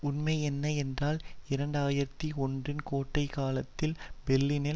உண்மையென்ன என்றால் இரண்டு ஆயிரத்தி ஒன்றுன் கோடைகாலத்தில் பெர்லினின்